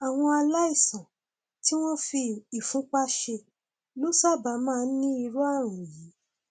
àwọn aláìsàn tí wọn fi ìfúnpá ṣe ló sábà máa ń ní irú ààrùn yìí